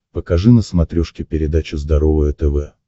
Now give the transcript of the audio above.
покажи на смотрешке передачу здоровое тв